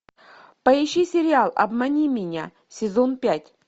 поищи сериал обмани меня сезон пять